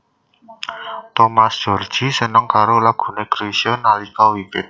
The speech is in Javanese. Thomas Djorghi seneng karo lagu laguné Chrisye nalika wiwit